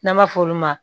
N'an b'a f'olu ma